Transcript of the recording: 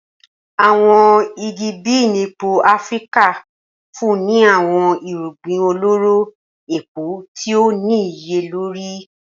Awọn igi bean epo Afirika nfunni ni awọn irugbin ọlọrọ epo ti o niyelori.